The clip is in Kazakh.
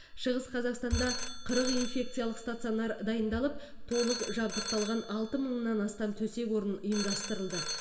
шығыс қазақстанда қырық инфекциялық стационар дайындалып толық жабдықталған алты мыңнан астам төсек орын ұйымдастырылды